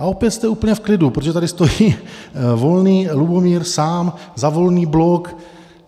A opět jste úplně v klidu, protože tady stojí Volný Lubomír sám za Volný blok.